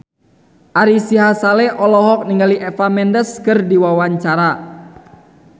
Ari Sihasale olohok ningali Eva Mendes keur diwawancara